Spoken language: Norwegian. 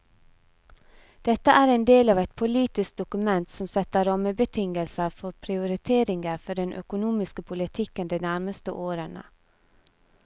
Dette er en del av et politisk dokument som setter rammebetingelser for prioriteringer for den økonomiske politikken de nærmeste årene.